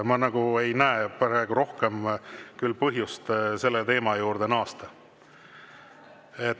Ma nagu ei näe praegu rohkem põhjust selle teema juurde naasta.